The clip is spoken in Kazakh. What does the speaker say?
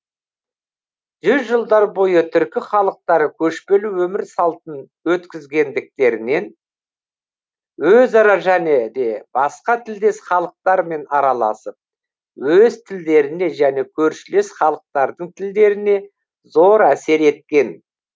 жүз жылдар бойы түркі халықтары көшпелі өмір салтын өткізгендіктерінен өзара және де басқа тілдес халықтармен араласып өз тілдеріне және көршілес халықтардың тілдеріне зор әсер еткен